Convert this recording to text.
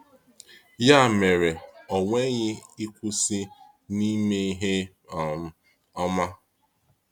Yà mere, ‘ùnweghị ịkwụsị n’ịme ihe um ọma!’